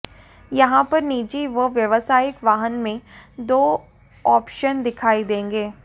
यहां पर निजी व व्यावसायिक वाहन के दो ऑप्शन दिखाई देंगे